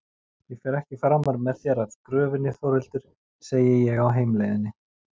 Ég fer ekki framar með þér að gröfinni Þórhildur, segi ég á heimleiðinni.